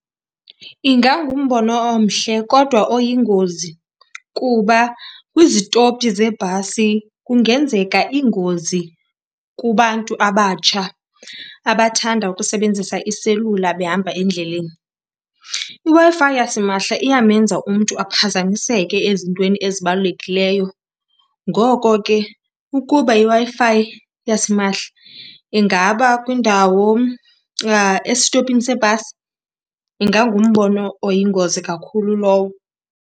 Ingangumbono omhle kodwa oyingozi kuba kwizitopi zebhasi kungenzeka iingozi kubantu abatsha abathanda ukusebenzisa iselula behamba endleleni. IWi-Fi yasimahla iyamenza umntu aphazamiseke ezintweni ezibalulekileyo. Ngoko ke ukuba iWi-Fi yasimahla ingaba kwiindawo, esitopini seebhasi, ingangumbono oyingozi kakhulu lowo.